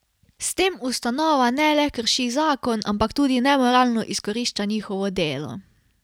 S tem ustanova ne le krši zakon, ampak tudi nemoralno izkorišča njihovo delo.